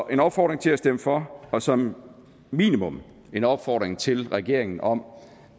en opfordring til at stemme for og som minimum en opfordring til regeringen om